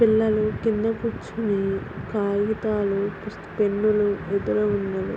పిల్లలు కింద కూర్చుని కాగితాలు పుస్త్ పెన్నులు ఉన్నవి.